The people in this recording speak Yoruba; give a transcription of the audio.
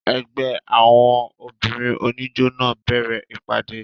Ẹgbẹ́ àwọn obìnrin oníjó náà bẹ̀rẹ̀ ìpàdé.